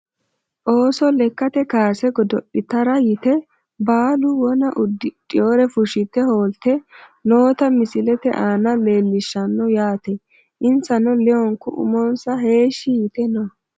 Ooso lekate kaase go`dolitara yite baalu wona udidhewore fushite hoolte noota misilete aana leelishano yaate insano lewunku umonsa heeshi yite no.